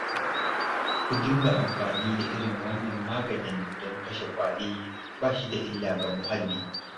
Ku dinga amfani da irin wannan maganin don kashe ƙwari ba shi da illa ga muhalli